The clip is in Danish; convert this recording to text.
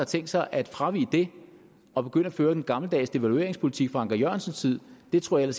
tænkt sig at fravige det og begynde at føre den gammeldags devalueringspolitik fra anker jørgensens tid det tror jeg